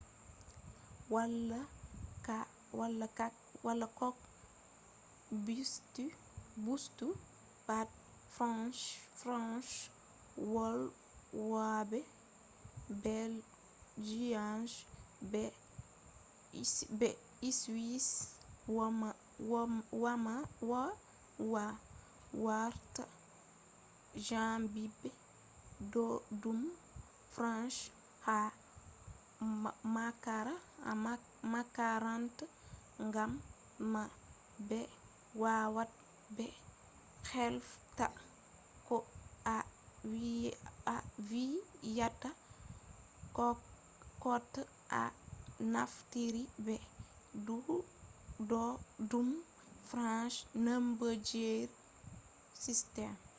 wala koh busti pat french- volwobe belgians be swiss wawan warta jangibe boddum french ha makaranta gam man be wawab be hefta koh a viyata kota a naftiri be boddum french numberji system